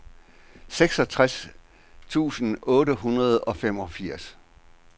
seksogtres tusind otte hundrede og femogfirs